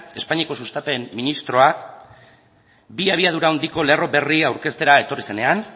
espainiako sustapen ministroak bi abiadura handiko lerro berri aurkeztera etorri zenean